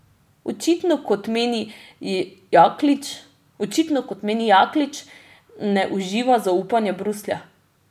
Očitno, kot meni Jaklič, ne uživa zaupanja Bruslja.